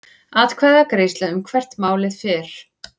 Atkvæðagreiðsla um hvert málið fer